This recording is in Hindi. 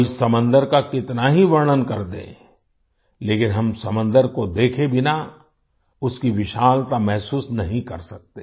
कोई समंदर का कितना ही वर्णन कर दे लेकिन हम समंदर को देखे बिना उसकी विशालता महसूस नहीं कर सकते